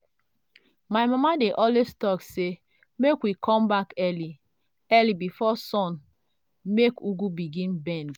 my mama dey always talk say make we come back early early before sun make ugu begin bend.